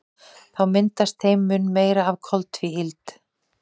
Þá myndast þeim mun meira af koltvíildi.